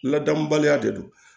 Ladamubaliya de don